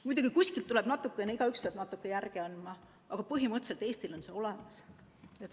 Muidugi, kuskilt tuleb natukene järele anda, igaüks peab natuke järele andma, aga põhimõtteliselt Eestil on see olemas.